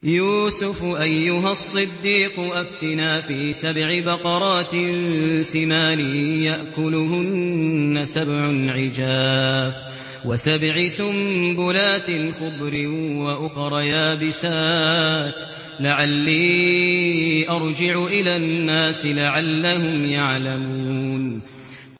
يُوسُفُ أَيُّهَا الصِّدِّيقُ أَفْتِنَا فِي سَبْعِ بَقَرَاتٍ سِمَانٍ يَأْكُلُهُنَّ سَبْعٌ عِجَافٌ وَسَبْعِ سُنبُلَاتٍ خُضْرٍ وَأُخَرَ يَابِسَاتٍ لَّعَلِّي أَرْجِعُ إِلَى النَّاسِ لَعَلَّهُمْ يَعْلَمُونَ